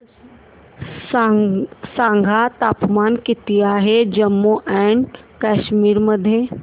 सांगा तापमान किती आहे जम्मू आणि कश्मीर मध्ये